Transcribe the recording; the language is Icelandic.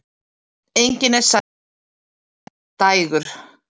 Engin er sæll fyrir sitt endadægur.